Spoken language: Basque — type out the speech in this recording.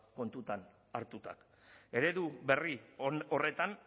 kontuan hartuta eredu berri horretan